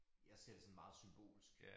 Jeg ser det sådan meget symbolsk